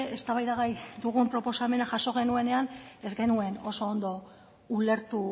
eztabaidagai dugun proposamena jaso genuenean ez genuen oso ondo ulertu